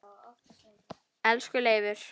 Elsku Leifur.